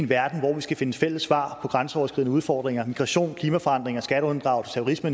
verden hvor vi skal finde fælles svar på grænseoverskridende udfordringer migration klimaforandringer skatteunddragelse og